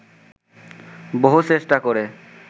বহু চেষ্টা করে